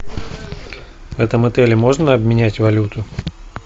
в этом отеле можно обменять валюту